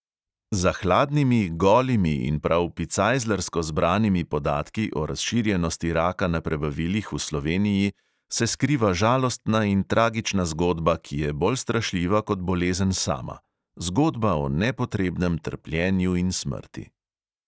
Za hladnimi, golimi in prav "picajzlarsko" zbranimi podatki o razširjenosti raka na prebavilih v sloveniji se skriva žalostna in tragična zgodba, ki je bolj strašljiva kot bolezen sama: zgodba o nepotrebnem trpljenju in smrti.